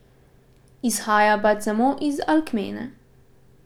Izhaja pač samo iz Alkmene.